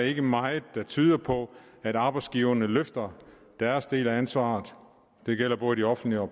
ikke meget der tyder på at arbejdsgiverne løfter deres del af ansvaret det gælder både de offentlige og